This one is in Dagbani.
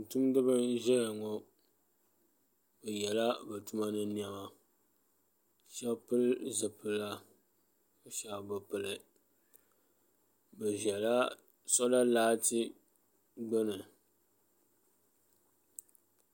Tumtumdiba n ʒɛya ŋɔ bɛ yela bɛ tumani niɛma sheba pili zipila bɛ sheba bi pili bɛ ʒɛla sola laati gbini .